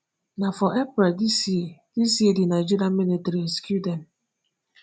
na for april dis year dis year di nigeria military rescue dem.